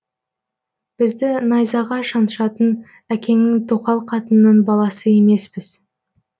бізді найзаға шаншатын әкеңнің тоқал қатынының баласы емеспіз